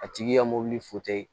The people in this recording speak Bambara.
A tigi ka mobili